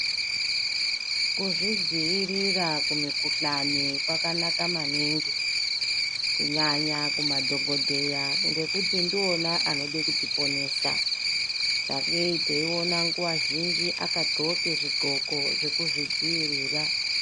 Kuzvidziirira kumikhuhlane hwakanaka maningi kunyanya kumadhokodheya ngokuti ndiwona anode kutiponesa sakeyi teyiwona nguva zhinji akagqoke zvigqoko zvekuzvidzivirira.